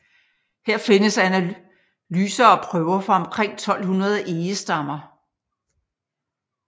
Her findes analyserer og prøver fra omkring 1200 egestammer